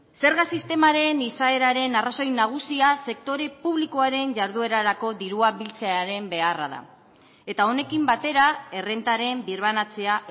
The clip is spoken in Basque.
zerga sistemaren izaeraren arrazoi nagusia sektore publikoaren jarduerarako dirua biltzearen beharra da eta honekin batera errentaren birbanatzea